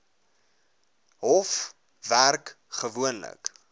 hof werk gewoonlik